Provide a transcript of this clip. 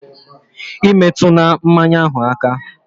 E metuna mmanya ahụ aka!